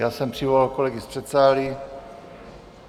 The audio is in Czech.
Já jsem přivolal kolegy z předsálí.